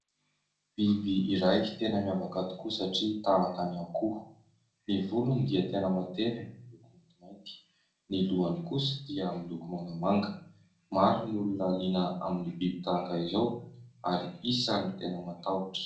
Biby iray tena miavaka tokoa satria tahaka ny akoho, ny volony dia tena matevina miloko maintimainty ; ny lohany kosa dia miloko mangamanga. Maro ny olona liana amin'ny biby tahaka izao ary isan'ny tena matahotra.